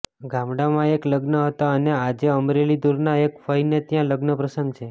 ગામડામાં એક લગ્ન હતા અને આજે અમરેલી દુરના એક ફઈને ત્યાં લગ્ન પ્રસંગ છે